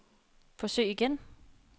forsøg igen